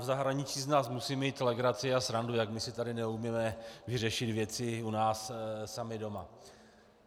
V zahraničí z nás musí mít legraci a srandu, jak my si tady neumíme vyřešit věci u nás sami doma.